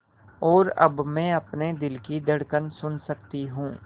और अब मैं अपने दिल की धड़कन सुन सकती हूँ